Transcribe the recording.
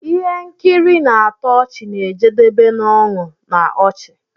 Ihe nkiri na-atọ ọchị na-ejedebe n'ọñụ na ọchị.